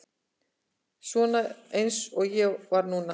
Svona eins og ég var núna.